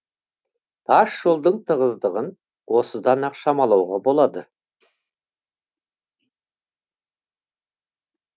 тас жолдың тығыздығын осыдан ақ шамалауға болады